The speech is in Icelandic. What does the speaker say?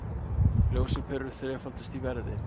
Ljósaperur þrefaldast í verði